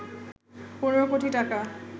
১৫ কোটি টাকা